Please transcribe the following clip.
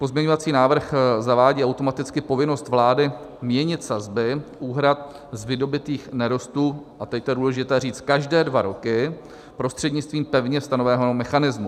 Pozměňovací návrh zavádí automaticky povinnost vlády měnit sazby úhrad z vydobytých nerostů - a teď to je důležité říct - každé dva roky prostřednictvím pevně stanoveného mechanismu.